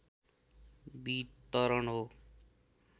वितरण हो